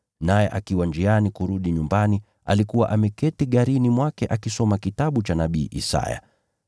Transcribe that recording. naye akiwa njiani kurudi nyumbani alikuwa ameketi garini mwake akisoma kitabu cha nabii Isaya.